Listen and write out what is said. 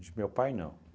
De meu pai, não.